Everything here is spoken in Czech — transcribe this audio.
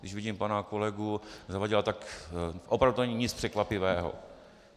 Když vidím pana kolegu Zavadila, tak opravdu to není nic překvapivého.